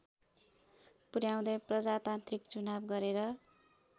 पुर्याउँदै प्रजातान्त्रिक चुनाव गरेर